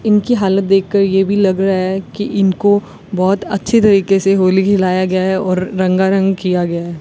इनकी हालत देखकर ये भी लग रहा है कि इनको बहोत अच्छी तरीके से होली खिलाया गया है और रंगारंग किया गया है।